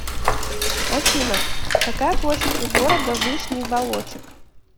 афина какая площадь у города вышний волочек